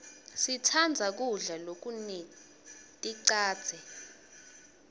sitsandza kudla lokuneticadze